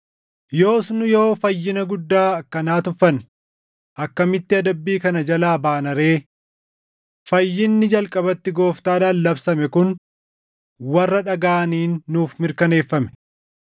yoos nu yoo fayyina guddaa akkanaa tuffanne, akkamitti adabbii kana jalaa baana ree? Fayyinni jalqabatti Gooftaadhaan labsame kun warra dhagaʼaniin nuuf mirkaneeffame.